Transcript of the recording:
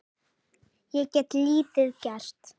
Ég get lítið gert.